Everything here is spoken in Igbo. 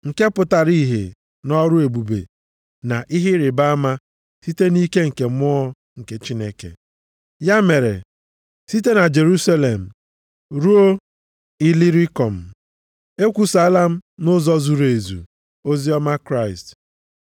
nke pụtara ihe nʼọrụ ebube na ihe ịrịbama site nʼike nke Mmụọ nke Chineke. Ya mere, site na Jerusalem ruo Ilirikom, ekwusaala m nʼụzọ zuru ezu, oziọma Kraịst.